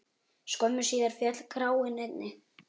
Skömmu síðar féll kraninn einnig.